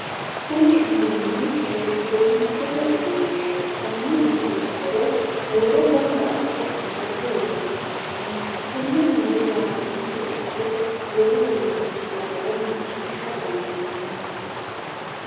Kunni uduunni elekitiroonikisete uduunneeti. Konni uduunni horo huuro gamba ase amadate horoonsi'nanni. Tenne huuro raadoonete ikko wulu uduunichira wore maciisha dandiinnanni.